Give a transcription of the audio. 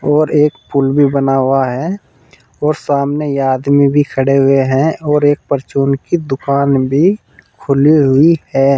और एक पुल भी बना हुआ है और सामने यह आदमी भी खड़े हुए हैं और एक परचून की दुकान भी खुली हुई है।